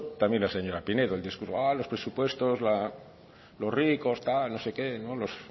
también la señora pinedo el discurso a los presupuestos los ricos tal no sé qué los